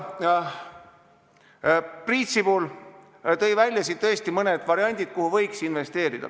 Priit Sibul nimetas mõned variandid, kuhu võiks investeerida.